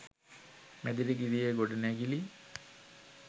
මැදිරිගිරියේ ගොඩනැගිලි